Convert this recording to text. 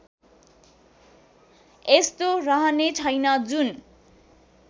यस्तो रहनेछैन् जुन